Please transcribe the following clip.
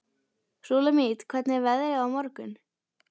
Súlamít, hvernig er veðrið á morgun?